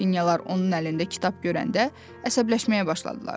bu dəfə də Qrafinyalar onun əlində kitab görəndə əsəbləşməyə başladılar.